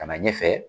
Ka na ɲɛfɛ